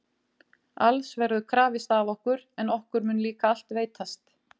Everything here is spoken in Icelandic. Alls verður krafist af okkur, en okkur mun líka allt veitast